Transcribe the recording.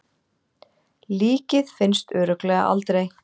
Líkið finnst örugglega aldrei.